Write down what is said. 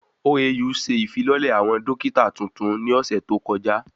OAU se ìfilọ́lẹ̀ àwọn dókítà tuntun ní ọ̀sẹ̀ tó kọjá